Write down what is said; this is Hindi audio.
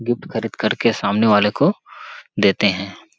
गिफ्ट खरीद खरीद के सामने वाले को देते हैं।